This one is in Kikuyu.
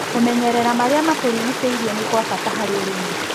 Kũmenyerera marĩa matũrigicĩirie nĩkwabata harĩ ũrĩmĩ.